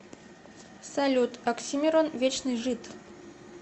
салют оксимирон вечный жид